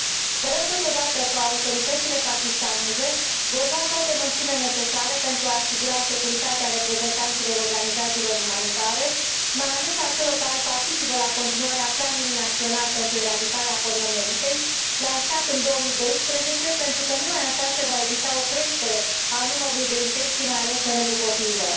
Sperăm, totodată, că autoritățile pakistaneze vor lua toate măsurile necesare pentru a asigura securitatea reprezentanților organizațiilor umanitare, mai ales a celor care participă la continuarea planului național pentru eradicarea poliomielitei, lansat în 2012, pentru că, numai așa, se va evita o creștere a numărului de infecții, mai ales în rândul copiilor.